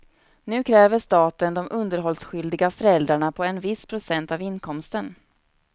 Nu kräver staten de underhållsskyldiga föräldrarna på en viss procent av inkomsten.